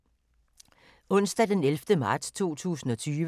Onsdag d. 11. marts 2020